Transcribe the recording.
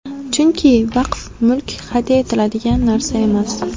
Chunki vaqf mulki hadya etiladigan narsa emas.